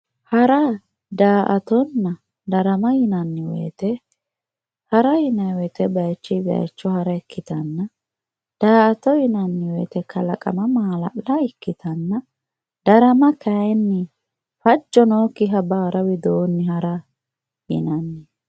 hara daa''attonna darama yinanni wote hara yinanni wote bayiichinni bayiicho hara ikkitanna daa'ato yinanni wote kalaqo maala'la ikkitanna darama yinanni wote kayiinni fajjo nookkiha baara widoonnji hara ikkitanno.